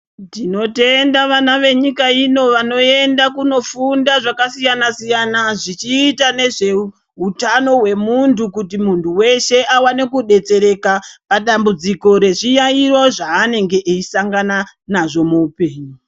Tinotenda vana venyika ino vanoenda kunofunda zvakanakisa siyana zvichita nezveutano hwemuntu kuti muntu weshe awane kudetsera padambudziko rezviyayiyo zvaanenge eyisangana nazvo muupenyu .